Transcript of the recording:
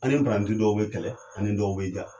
An ni dɔw be kɛlɛ an ni dɔw be ja.